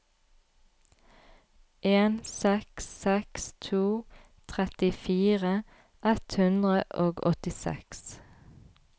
en seks seks to trettifire ett hundre og åttiseks